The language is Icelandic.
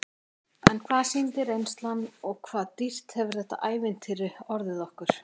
En hvað sýndi reynslan og hvað dýrt hefur þetta ævintýri orðið okkur?